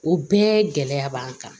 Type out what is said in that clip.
O bɛɛ gɛlɛya b'an kan